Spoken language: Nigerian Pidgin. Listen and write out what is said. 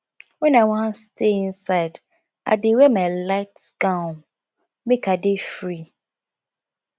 wen i wan stay inside i dey wear my light gown make i dey free